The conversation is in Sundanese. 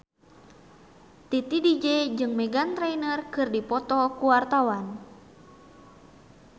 Titi DJ jeung Meghan Trainor keur dipoto ku wartawan